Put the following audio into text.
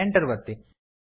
Enter ಕೀಯನ್ನು ಒತ್ತಿ